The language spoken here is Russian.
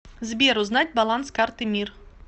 сбер узнать баланс карты мир